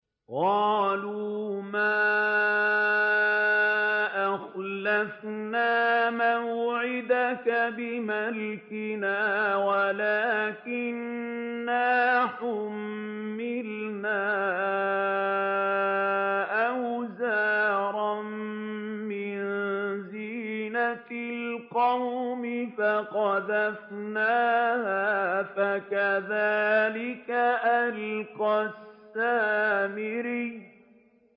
قَالُوا مَا أَخْلَفْنَا مَوْعِدَكَ بِمَلْكِنَا وَلَٰكِنَّا حُمِّلْنَا أَوْزَارًا مِّن زِينَةِ الْقَوْمِ فَقَذَفْنَاهَا فَكَذَٰلِكَ أَلْقَى السَّامِرِيُّ